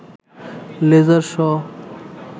laser show